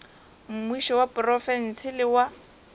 mmušo wa profense le wa